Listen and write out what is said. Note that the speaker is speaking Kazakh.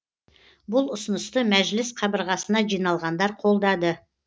бұл ұсынысты мәжіліс қабырғасына жиналғандар қолдады